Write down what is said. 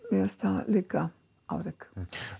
mér fannst það líka afrek